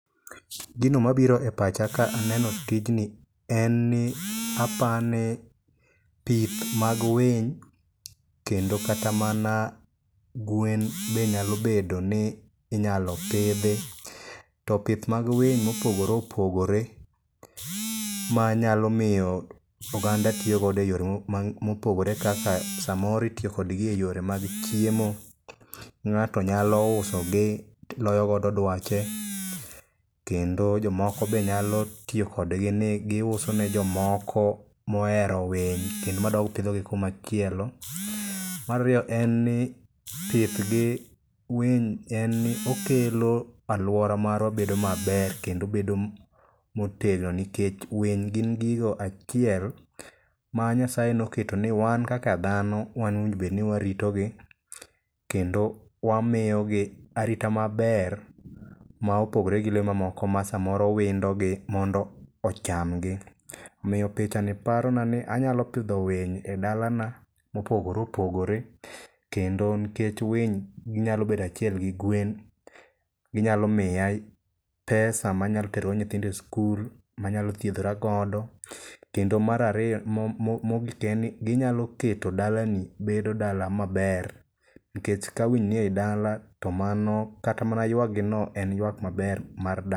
Gino mabiro e pacha ka aneno tijni en ni, apani pith mag winy kendo kata mana gwen be nyalo bedo ni inyalo pidhi. To pith mag winy mopogore opogore, manyalo miyo oganda tiyo godo e yore mopogore opogore kaka samoro itiyo kodgi e yore mag chiemo, ng'ato nyalo uso gi ti loyo godo dwache, kendo jomoko be nyalo tiyo kodgi ni giuso ne jomoko mohero winy kendo ma dog pidho gi kumachielo. Mar ariyo en ni thieth gi winy en okelo alwora marwa bedo maber kendo bedo motegno nikech winy gin gigo achiel ma Nyasaye noketo ni wan kaka dhano wan owinjo bed ni warito gi kendo wamiyo gi arita maber ma opogore gi lee mamoko ma samoro windo gi mondo ocham gi. Omiyo picha ni paro na ni anyalo pidho winy e dala na mopogore opogore, kendo nikech winy ginyalo bedo achiel gi gwen, ginyalo miya pesa manyalo tero go nyithindo e skul, manyalo thiedhora godo. Kendo mar ariyo, mogik en ni ginyalo keto dala ni bedo dala maber. Nikech ka winy ni ei dala, to mano, kata mana yuak gi no, en yuak maber mar dala.